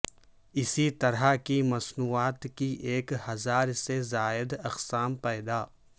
اسی طرح کی مصنوعات کی ایک ہزار سے زائد اقسام پیدا